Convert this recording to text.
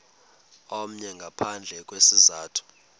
omnye ngaphandle kwesizathu